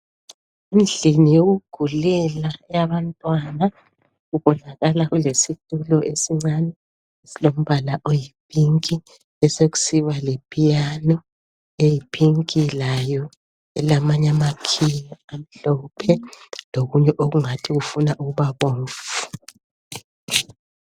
Endlini yokugulela eyabantwana kubonakala kulesitulo esincane esilombala oyiphinki besekusiba lepiyano eyiphinki layo elamanye amakhiyi amhlophe lokunye okungathi kufuna ukuba bomvu.